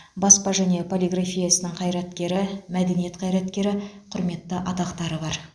баспа және полиграфия ісінің қайраткері мәдениет қайраткері құрметті атақтары бар